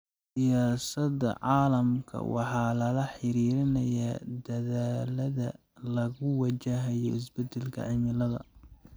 Siyasadda caalamka waxaa lala xiriirinayaa dadaallada lagu wajahayo isbeddelka cimilada.